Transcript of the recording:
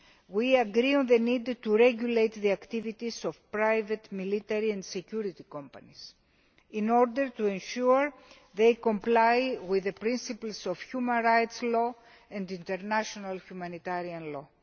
We agree on the need to regulate the activities of private military and security companies, in order to ensure they comply with the principles of human rights law and international humanitarian law.